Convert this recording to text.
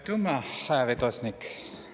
Aitümma, hüa istungi vedosnik!